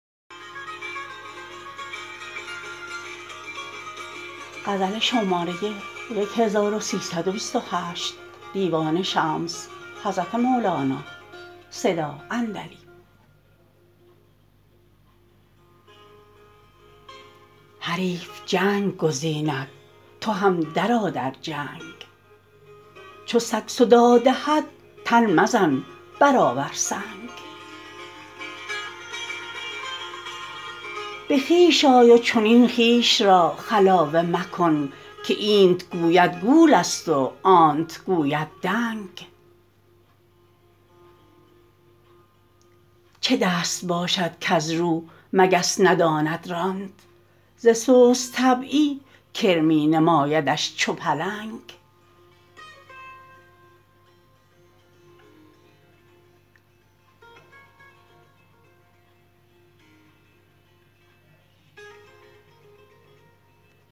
حریف جنگ گزیند تو هم درآ در جنگ چو سگ صداع دهد تن مزن برآور سنگ به خویش آی و چنین خویش را خلاوه مکن که اینت گوید گولست و آنت گوید دنگ چه دست باشد کز رو مگس نداند راند ز سست طبعی کرمی نمایدش چو پلنگ